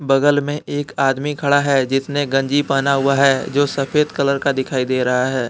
बगल में एक आदमी खड़ा है जिसने गंजी बना हुआ है जो सफेद कलर का दिखाई दे रहा है ।